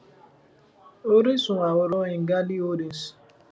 oríṣun àwòrán ngali holdings